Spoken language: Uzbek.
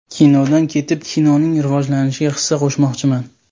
Kinodan ketib, kinoning rivojlanishiga hissa qo‘shmoqchiman.